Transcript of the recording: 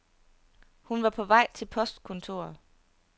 Hun var på vej til postkontoret.